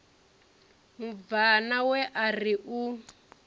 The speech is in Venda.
mubvana we a ri u